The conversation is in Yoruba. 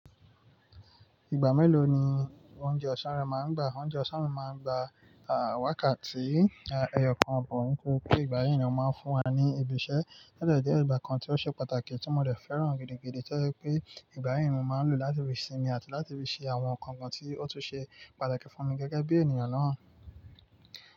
Ìgbà mélòó ni oúnjẹ ọ̀sán rẹ máa ń gbà? Oúnjẹ ọ̀sán mi máa ń gbà, à, wákàtí, a, ẹyọkan, but nítorí pé ìgbà yìí ni wón máa ń fún wa ní ibiṣẹ́. Odẹ jẹ́ ìgbà kan tí ó ṣe pàtàkì tí mo dẹ̀ fẹ́ràn gidigidi to je pé ìgbà yẹn ni mo máa ń lò láti fi sinmi àti láti fi ṣe àwọn nǹkan kan tí ó tún ṣe pàtàkì fún mi gẹ́gẹ́ bí ènìyàn náà.